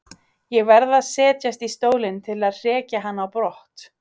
Ég verð að setjast í stólinn til að hrekja hann á brott.